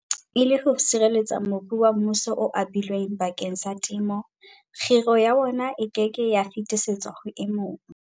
E le ho sireletsa mobu wa mmuso o abilweng bakeng sa temo, kgiro ya wona e ke ke ya fetisetswa ho e mong.